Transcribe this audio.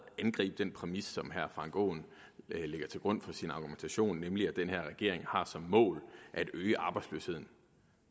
angribe den præmis som herre frank aaen lægger til grund for sin argumentation nemlig at den her regering har som mål at øge arbejdsløsheden